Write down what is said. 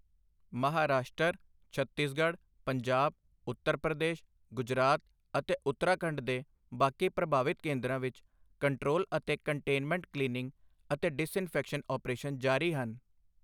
ਮਹਾਰਾਸ਼ਟਰ, ਛੱਤੀਸਗਡ਼੍ਹ, ਪੰਜਾਬ, ਉੱਤਰ ਪ੍ਰਦੇਸ਼, ਗੁਜਰਾਤ ਅਤੇ ਉੱਤਰਾਖੰਡ ਦੇ ਬਾਕੀ ਪ੍ਰਭਾਵਿਤ ਕੇਂਦਰਾਂ ਵਿਚ ਕੰਟਰੋਲ ਅਤੇ ਕੰਟੇਨਮੈਂਟ ਕਲੀਨਿੰਗ ਅਤੇ ਡਿਸਇਨਫੈਕਸ਼ਨ ਆਪ੍ਰੇਸ਼ਨ ਜਾਰੀ ਹਨ।